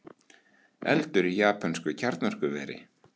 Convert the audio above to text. Eldur í japönsku kjarnorkuveri